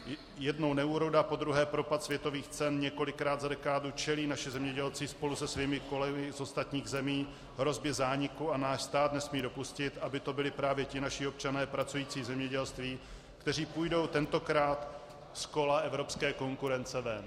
Jednou neúroda, podruhé propad světových cen, několikrát za dekádu čelí naši zemědělci spolu se svými kolegy z ostatních zemí hrozbě zániku, a náš stát nesmí dopustit, aby to byli právě ti naši občané pracující v zemědělství, kteří půjdou tentokrát z kola evropské konkurence ven.